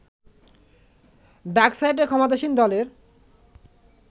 ডাকসাইটে ক্ষমতাসীন দলের